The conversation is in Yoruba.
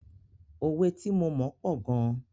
Òwe tí mo mọ̀ pọ̀ gan.